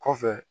Kɔfɛ